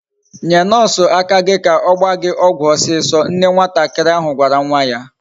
Nye nurse aka gi ka ogba gi ogwu osiso. Nne nwatakari ahu gwara nwa ya